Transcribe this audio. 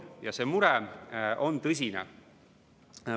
Ja see mure on tõsine.